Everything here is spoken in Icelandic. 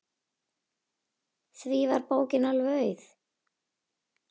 Því var bókin alveg auð.